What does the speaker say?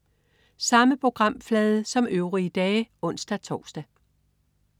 Samme programflade som øvrige dage (ons-tors)